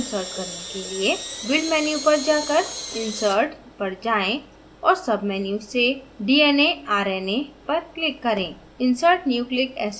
एक dna अणु को insert करने के लिए build menu पर जाकर insert पर जाएँ और sub menu से dna/rna पर click करें